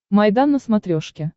майдан на смотрешке